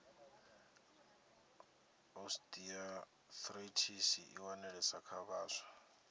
osteoarithritis i wanalesa kha vhaswa